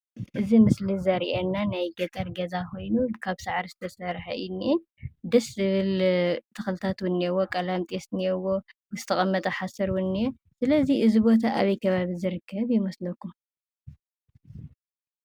እዚ ምስሊ ዘርእየና ናይ ገጠር ገዛ ኮይኑ ካብ ሳዕሪ ዝተሰርሐ እዩ እንኤ። ደስ ዝብል ተኽልታት እዉን እንኤዎ። ቀላሚጦስ እንኤዎ። ዝተቐመጠ ሓሰር እዉን እንኤ። ስለዚ እዚ ቦታ ኣበይ ከባቢ ዝርከብ ይመስለኩም?